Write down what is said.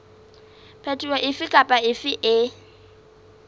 phetoho efe kapa efe e